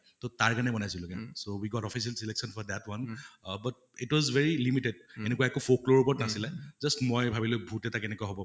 তʼ তাৰ কাৰণে বনাইছিলো, so we got official selection for that one ah but it was very limited এনেকুৱা একো অত নাছিলে, just মই ভাবিলো ভূত এটা কেনেকুৱা হʼব